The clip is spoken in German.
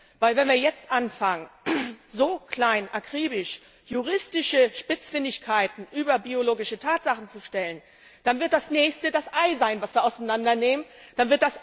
Denn wenn wir jetzt anfangen, so klein akribisch juristische Spitzfindigkeiten über biologische Tatsachen zu stellen, dann wird das Nächste, was wir auseinandernehmen, das Ei sein.